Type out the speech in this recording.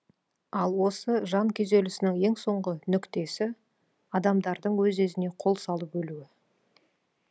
ал осы жан күйзелісінің ең соңғы нүктесі адамдардың өз өзіне қол салып өлуі